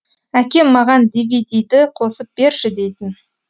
әкем маған дивидиді қосып берші дейтін